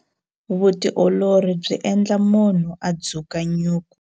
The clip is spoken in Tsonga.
Vutiolori byi endla munhu a dzuka nyuku.